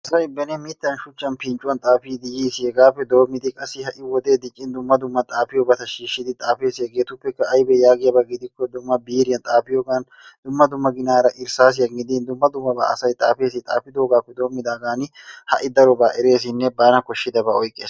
Asay beni mitan shuchchan pinccuwan xaafiidi yiis. Hegappe doomidi qassi ha'i wodee diccin dumma dumma xaafiyobata shiishidi xafees. Hegeetuppekka aybee yagiyaba gidikko biiriyan xaafiyooga dumma dumma ginaara irsaassiyan gidin dumma dummabaa asay xaafees. Xaafidoogaappe doomidaagan ha'i darobaa ereessinne bana koshidabaa oykkees.